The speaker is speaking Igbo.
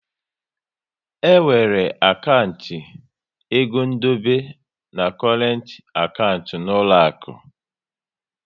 E nwere akantị egondebe na korent akantị n'uloaku